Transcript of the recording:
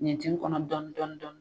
Ɲintin kɔnɔ dɔɔni dɔɔni.